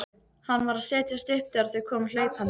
Hann var að setjast upp þegar þau komu hlaupandi.